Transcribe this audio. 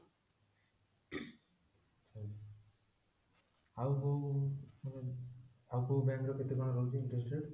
ଆଉ କୋଉ ମାନେ ଆଉ କୋଉ bank ର କେତେ କଣ ରହୁଛି interest rate